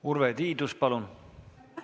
Urve Tiidus, palun!